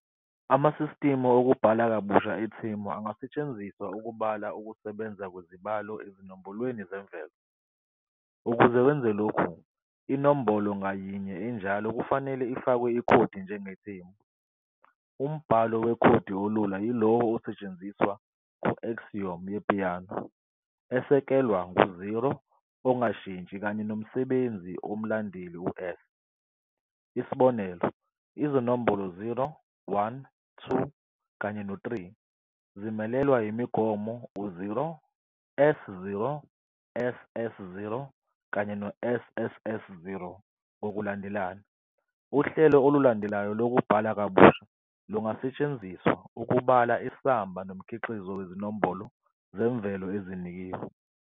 Amasistimu okubhala kabusha ethemu angasetshenziswa ukubala ukusebenza kwezibalo ezinombolweni zemvelo. Ukuze wenze lokhu, inombolo ngayinye enjalo kufanele ifakwe ikhodi njengetemu. Umbhalo wekhodi olula yilowo osetshenziswa ku- axiom ye -Peano, esekelwe ku-0 ongashintshi kanye nomsebenzi womlandeli u- "S". isibonelo, izinombolo 0, 1, 2, kanye no-3 zimelelwe imigomo 0, S, 0, S, S, 0, kanye S, S, S, 0, ngokulandelana. Uhlelo olulandelayo lokubhala kabusha lungasetshenziswa ukubala isamba nomkhiqizo wezinombolo zemvelo ezinikeziwe.